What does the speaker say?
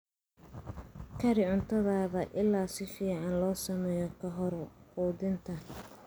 Kari cuntada ilaa si fiican loo sameeyo ka hor quudinta.